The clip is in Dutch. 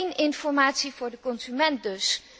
Geen informatie voor de consument dus.